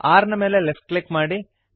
R ನ ಮೇಲೆ left click ಮಾಡಿರಿ